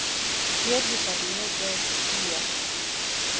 Mér líkar mjög vel í ÍR.